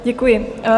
Děkuji.